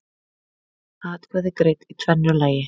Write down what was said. Atkvæði greidd í tvennu lagi